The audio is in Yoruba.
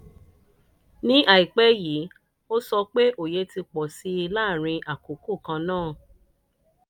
ní àìpẹ́ yìí ó sọ pé òye ti pọ̀ sí i láàárín àkókò kan náà.